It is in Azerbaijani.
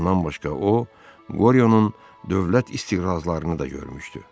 Bundan başqa o, Qoryonun dövlət istiqrazlarını da görmüşdü.